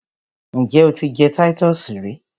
Njẹ o ti jẹ Titus rí?